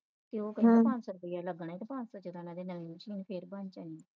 ਤੇ ਉਹ ਕਹਿੰਦਾ ਪਜਸੋ ਰੁਪਇਆ ਲੱਗਣਾ ਤੇ ਪਜਸੋ ਰੁਪਏ ਵਿੱਚ ਨਵੀ Machine ਫਿਰ ਕੌਣ ਦੇਵੇ ਗਾ ਤੈਨੂੰ